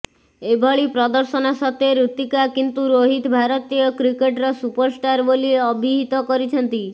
ଏଭଳି ପ୍ରଦର୍ଶନ ସତ୍ୱେ ଋତିକା କିନ୍ତୁ ରୋହିତ ଭାରତୀୟ କ୍ରିକେଟ୍ର ସୁପରଷ୍ଟାର ବୋଲି ଅବିହିତ କରିଛନ୍ତି